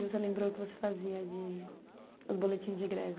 Você lembrou o que você fazia de... Os boletins de greve.